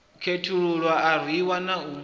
khethululwa a rwiwa na u